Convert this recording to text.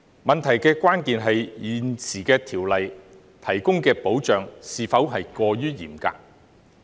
問題的關鍵是，《條例》現時提供的保障是否過於嚴格？